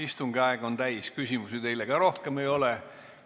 Istungi aeg on täis, küsimusi teile ka rohkem ei ole.